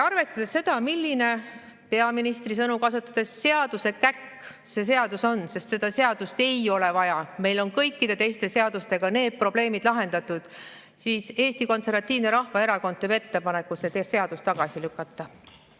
Arvestades seda, milline – peaministri sõnu kasutades – seadusekäkk see seadus on, et seda seadust ei ole vaja, sest meil on kõikide teiste seadustega need probleemid lahendatud, siis Eesti Konservatiivne Rahvaerakond teeb ettepaneku see seadus tagasi lükata.